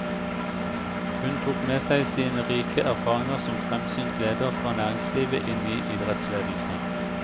Hun tok med seg sine rike erfaringer som fremsynt leder fra næringslivet inn i idrettsledelse.